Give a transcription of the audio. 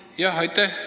Aitäh!